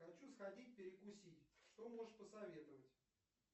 хочу сходить перекусить что можешь посоветовать